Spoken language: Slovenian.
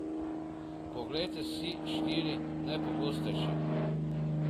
Poglejte si štiri najpogostejše.